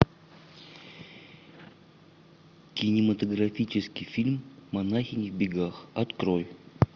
кинематографический фильм монахини в бегах открой